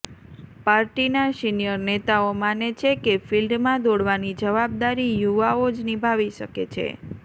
પાર્ટીના સિનિયર નેતાઓ માને છે કે ફીલ્ડમાં દોડવાની જવાબદારી યુવાઓ જ નિભાવી શકે છે